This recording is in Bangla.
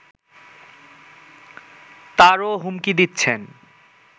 তারও হুমকি দিচ্ছেন